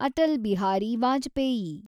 Atal Bihari Vajpayee